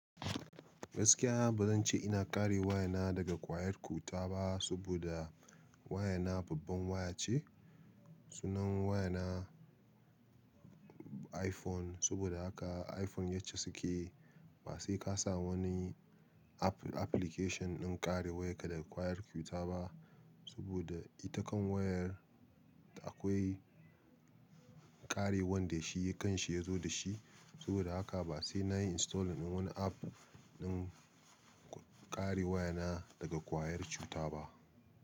Gaskiya ba zan ce ina kare waya na daga ƙwayar cuta ba, saboda waya na babban waya ce. Sunan waya na iPhone, saboda haka iPhone yace suke. Ba sai ka sa wani app application ɗin kare wayarka daga ƙwayar cuta ba, saboda ita kan wayar akwai kare wanda shi kan shi ya zo da shi. Saboda haka ba sai na yi install ɗin wani app na kare waya na daga ƙwayar cuta ba.